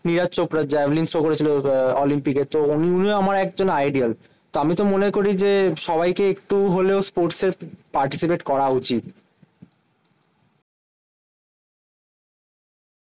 Neeraj Chopra javelin throw করেছিল আহ অলিম্পিকের তো উনিও আমার একজন আইডল। তো আমি তো মনে করি যে সবাইকে একটু হলেও sports participate করা উচিত।